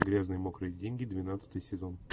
грязные мокрые деньги двенадцатый сезон